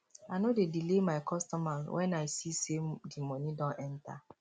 i no dey delay my customer wen i see sey di moni don enta